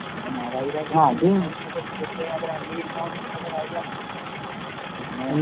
അങ്ങനെ മാതാപിതാക്കള് തീർച്ചയായും അതൊരു അംഗീകരിക്കാൻ വേണ്ടി പറ്റാത്ത കാര്യാന്ന്. പിന്നെ